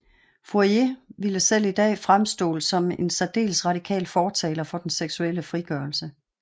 Fourier ville selv i dag fremstå som en særdeles radikal fortaler for den seksuelle frigørelse